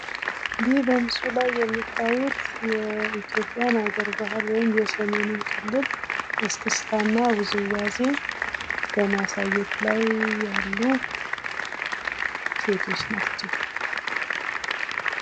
ይህ በምስሉ ላይ የምታዩት የኢትዮጵያን ሀገር ባህል ወይም የሰሜኑን ክልል እስክስታ እና ዉዝዋዜ በማሳየት ላይ ያሉ ሴቶች ናቸው።